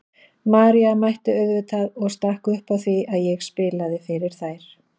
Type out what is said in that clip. María mætti auðvitað og stakk upp á því að ég spilaði fyrir þær.